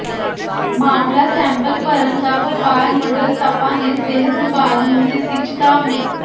ਮਾਮਲਾ ਸੈਂਪਲ ਭਰਨ ਦਾ ਵਪਾਰ ਮੰਡਲ ਤਪਾ ਨੇ ਸਿਹਤ ਵਿਭਾਗ ਨੂੰ ਦਿੱਤੀ ਚਿਤਾਵਨੀ